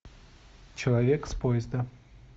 человек с поезда